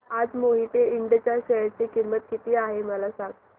आज मोहिते इंड च्या शेअर ची किंमत किती आहे मला सांगा